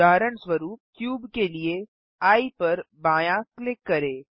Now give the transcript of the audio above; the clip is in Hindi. उदाहरण स्वरुप क्यूब के लिए एये पर बायाँ क्लिक करें